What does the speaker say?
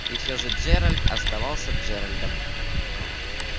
и все же джеральд оставался джеральдом